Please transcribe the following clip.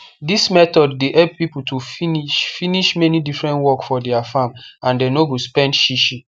this method dey help people to finish finish many different work for their farm and they no go spend shishi